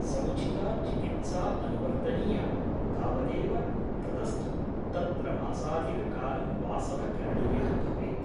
समुचिता चिकित्सा अनुवर्तनीया , तावदेव तदस्तु तत्र मासाधिककालं वासः करणीयः भवेत् ।